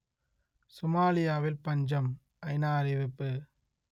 சோமாலியாவில் பஞ்சம் ஐநா அறிவிப்பு